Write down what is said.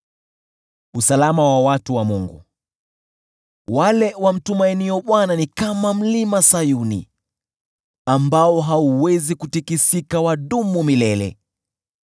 Wale wamtumainio Bwana ni kama mlima Sayuni, ambao hauwezi kutikisika, bali wadumu milele.